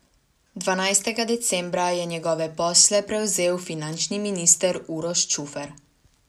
Dvanajstega decembra je njegove posle prevzel finančni minister Uroš Čufer.